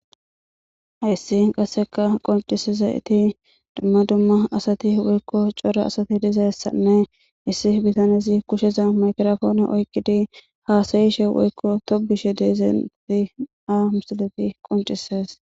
issi qasseka qoncisezayeti dumma dumma asati woykko cora asati dizessanne issi bitanezi kusheza makrofoone oykkidi haasayishe woykko tobishe de'iza nati ha misileyi qoncises